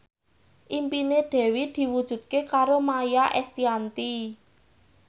impine Dewi diwujudke karo Maia Estianty